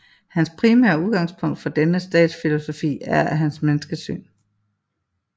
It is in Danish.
Hans primære udgangspunkt for denne statsfilosofi er hans menneskesyn